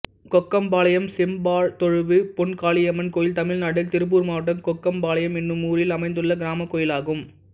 கொக்கம்பாளையம் செம்பாத்தொழுவு பொன்காளியம்மன் கோயில் தமிழ்நாட்டில் திருப்பூர் மாவட்டம் கொக்கம்பாளையம் என்னும் ஊரில் அமைந்துள்ள கிராமக் கோயிலாகும்